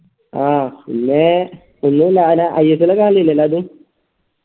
ആ പിന്നേ ഒന്നല്ല ആന അയ്യപ്പനെ കാണലില്ലേ അത്